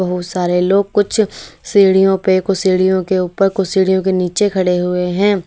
बहुत सारे लोग कुछ सीढ़ियों पे कुछ सीढ़ियों के ऊपर कुछ सीढ़ियों के नीचे खड़े हुए हैं।